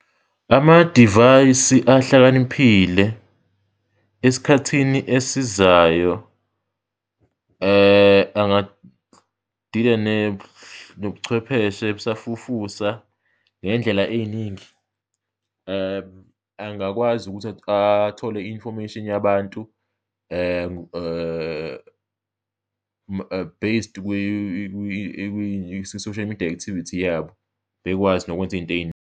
Amadivayisi ahlakaniphile esikhathini esizayo angadila nobuchwepheshe obusafufusa ngey'ndlela ey'ningi, angakwazi ukuthi athole i-information yabantu based kwi-social media activity yabo bekwazi nokwenza iy'nto .